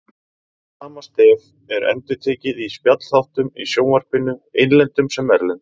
Sama stef er endurtekið í spjallþáttum í sjónvarpinu, innlendum sem erlendum.